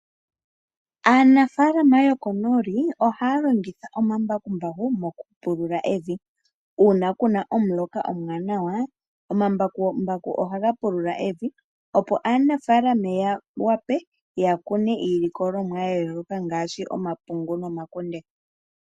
Aanafaalama yokonooli ohaya longitha oombakumbaku mokupulula evi, uuna kuna omuloka omuwanawa, omambakumbaku oha ga pulula evi opo aanafaalama ya wape ya kune iilikolomwa ya yooloka ngaashi omapungu nomakunde.